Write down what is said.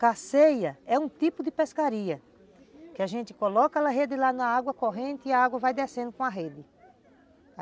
Carceia é um tipo de pescaria, que a gente coloca a rede lá na água corrente e a água vai descendo com a rede.